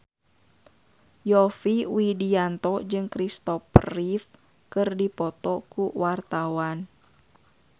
Yovie Widianto jeung Christopher Reeve keur dipoto ku wartawan